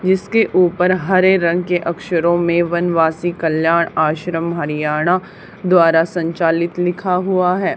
जिसके ऊपर हरे रंग के अक्षरों में वनवासी कल्याण आश्रम हरियाणा द्वारा संचालित लिखा हुआ है।